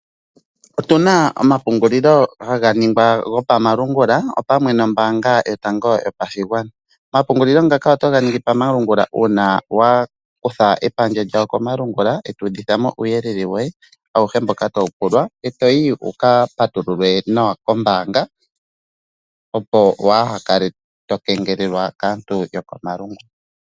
Otuna omapungulilo haga ningwa gopamalungula opamwe nombaanga yotango yopashigwana. Omapungulilo ngako otoga ningi pamalungula uuna wakutha epandja lyawo komalungula eto udhithamo uuyelele woye awuhe mboka tawu pulwa. Etoyi wukapatululwe nawa kombaanga opo wa hakale tokengelelwa kaantu yokomalungula.